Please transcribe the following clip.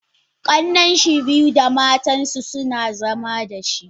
Kanninshi biyu da matansu suna zama dashi.